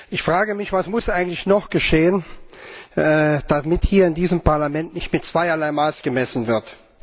Ich frage mich, was muss eigentlich noch geschehen, damit hier in diesem Parlament nicht mit zweierlei Maß gemessen wird?